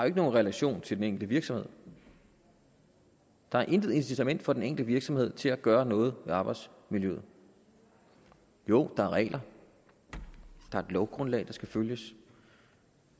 ikke nogen relation til den enkelte virksomhed der er intet incitament for den enkelte virksomhed til at gøre noget ved arbejdsmiljøet jo der er regler der er et lovgrundlag der skal følges